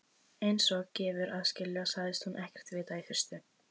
Einsog gefur að skilja sagðist hún ekkert vita í fyrstu.